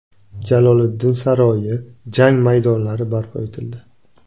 Jaloliddin saroyi, jang maydonlari barpo etildi.